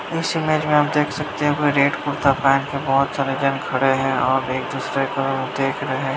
इस इमेज में आप देख सकते है वो रेड कुर्ता पेहन के बहुत सारे जन खड़े हैं और एक दुसरे को देख रहे --